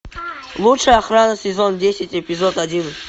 лучшая охрана сезон десять эпизод один